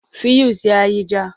Fuyus ya yi ja.